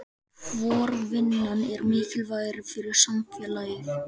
Hvor vinnan er mikilvægari fyrir samfélagið?